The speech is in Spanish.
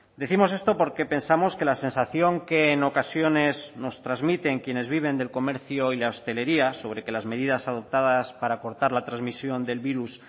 decimos esto porque pensamos que la sensación que en ocasiones nos transmiten quienes viven del comercio y la hostelería sobre que las medidas adoptadas para cortar la transmisión del virus